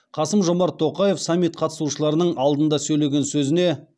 қасым жомарт тоқаев саммит қатысушыларының алдында сөйлеген сөзіне